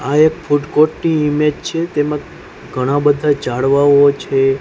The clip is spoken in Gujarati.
આ એક ફૂડ કોર્ટ ની ઈમેજ છે તેમજ ઘણાંબધા ઝાડવાઓ છે.